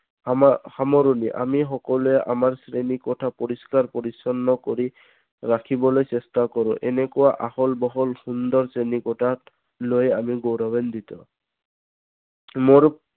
সাম সামৰণি আমি সকলোৱে আমাৰ শ্ৰেণী কোঠা পৰিস্কাৰ পৰিচন্ন কৰি ৰাখিবলৈ চেষ্টা কৰোঁ। এনেকুৱা আহল বহল শ্ৰেণী কোঠাক লৈ আমি গৌৰৱান্বিত